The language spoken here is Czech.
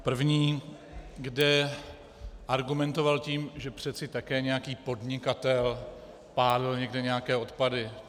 První, kde argumentoval tím, že přece také nějaký podnikatel pálil někde nějaké odpady.